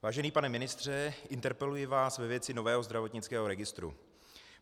Vážený pane ministře, interpeluji vás ve věci nového zdravotnického registru.